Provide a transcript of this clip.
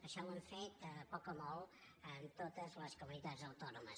això ho han fet poc o molt amb totes les comunitats autònomes